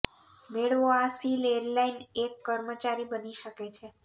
મેળવો આ સીલ એરલાઈન એક કર્મચારી બની શકે છે